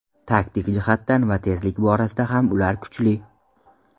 Taktik jihatdan va tezlik borasida ham ular kuchli.